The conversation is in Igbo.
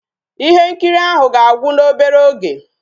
Ihe nkiri ahụ ga-agwu n'obere oge